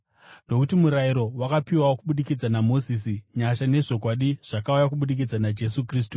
Nokuti murayiro wakapiwa kubudikidza naMozisi; nyasha nezvokwadi zvakauya kubudikidza naJesu Kristu.